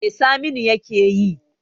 Me saminu yakeyi?